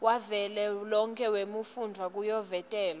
wavelonkhe wetifundza kuyovotelwa